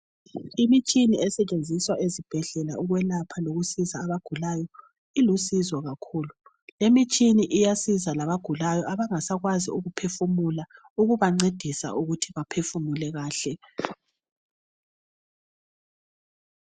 Imitshina esetshenziswa ezibhedlela ukwelapha lokusiza abagulayo ilusizo kakhulu lemitshina iyasiza labagulayo abangasakwanisi ukuphefumula kuyabancedisa ukuthi baphefumule kahle.